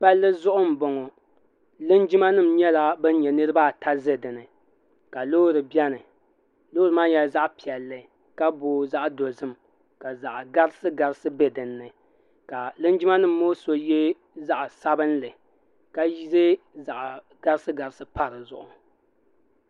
pali zuɣ' n bɔŋɔ linjima nim nyɛla ban nyɛ niribaata ʒɛ dini ka lori bɛni lori maa nyɛla zaɣ' piɛli ka boi zaɣ' dozim ka zaɣ' garisigarisi bɛ dini ka linjima nim ŋɔ so yɛ zaɣ' sabinli ka yɛ zaɣ' garisigarisi pa di zuɣ'